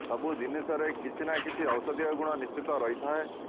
ସବୁ ଜିନିଷରେ କିଛି ନା କିଛି ଔଷଧୀୟ ଗୁଣ ନିଶ୍ଚିତ ରହିଥାଏ